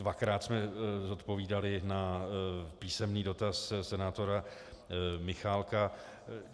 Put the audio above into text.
Dvakrát jsme zodpovídali na písemný dotaz senátora Michálka.